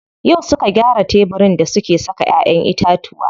Yau suka gyara tebirin da suke saka ƴaƴen itatuwa.